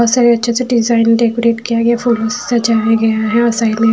बहुत सारे अच्छे से डिज़्ज़ाइन डेकोरेट किया गया है फूलों से सजाया गया है और साइड में--